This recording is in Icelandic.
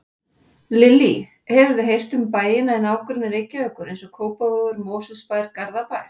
Lillý: Hefurðu heyrt um bæina í nágrenni Reykjavíkur, eins og Kópavogur, Mosfellsbær, Garðabær?